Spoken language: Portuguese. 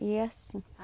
E é assim.